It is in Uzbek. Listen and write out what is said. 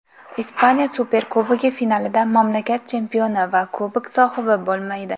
Ispaniya Superkubogi finalida mamlakat chempioni va Kubok sohibi bo‘lmaydi.